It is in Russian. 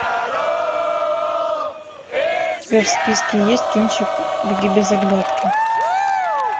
у тебя в списке есть кинчик беги без оглядки